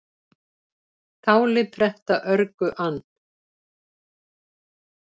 Táli pretta örgu ann,